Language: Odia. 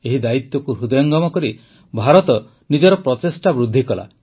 ଏହି ଦାୟିତ୍ୱକୁ ହୃଦୟଙ୍ଗମ କରି ଭାରତ ନିଜର ପ୍ରଚେଷ୍ଟା ବୃଦ୍ଧି କଲା